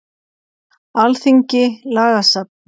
Alþingi- Lagasafn.